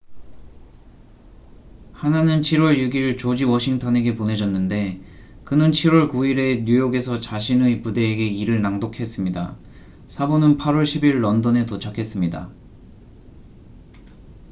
하나는 7월 6일 조지 워싱턴에게 보내졌는데 그는 7월 9일에 뉴욕에서 자신의 부대에게 이를 낭독했습니다 사본은 8월 10일 런던에 도착했습니다